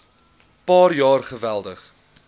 paar jaar geweldig